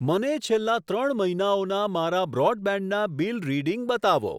મને છેલ્લા ત્રણ મહિનાઓના મારા બ્રોડબેન્ડ ના બિલ રીડિંગ બતાવો.